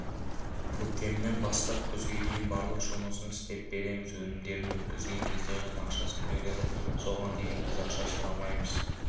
көктемнен бастап күзге дейін барлық жұмысын істеп береміз өнімдерін өткізген кезде ғана ақшасын береді соған дейін біз ақша сұрамаймыз